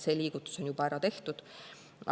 See liigutus on juba ära tehtud.